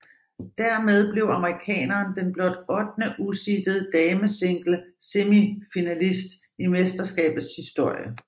Dermed blev amerikaneren den blot ottende useedede damesinglesemifinalist i mesterskabets historie